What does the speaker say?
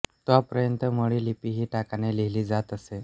तोपर्यंत मोडी लिपी ही टाकाने लिहिली जात असे